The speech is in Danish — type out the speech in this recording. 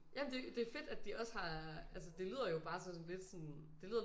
Jamen det det er fedt at vi også har altså det lyder jo bare sådan lidt sådan det lyder